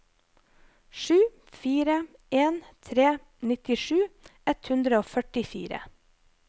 sju fire en tre nittisju ett hundre og førtifire